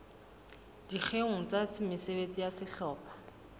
dikgeong tsa mesebetsi ya sehlopha